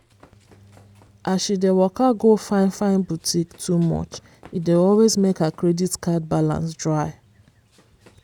as she dey waka go fine-fine boutique too much e dey always make her credit card balance dry.